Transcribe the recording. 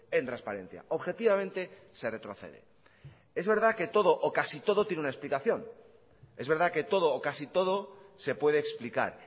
en transparencia objetivamente se retrocede es verdad que todo o casi todo tiene una explicación es verdad que todo o casi todo se puede explicar